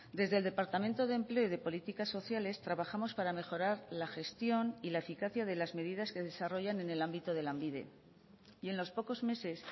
desde el departamento de empleo y de políticas sociales trabajamos para mejorar la gestión y la eficacia de las medidas que desarrollan en el ámbito de lanbide y en los pocos meses